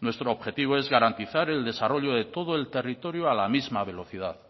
nuestro objetivo es garantizar el desarrollo de todo el territorio a la misma velocidad